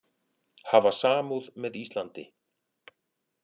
Hafa samúð með Íslandi